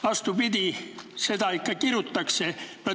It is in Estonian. Vastupidi, seda ikka kirutakse.